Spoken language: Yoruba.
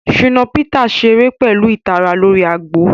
Shina Peters ṣere pẹlu itara lori agbo.